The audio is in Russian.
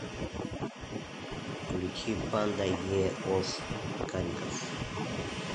включи панда е ос карикас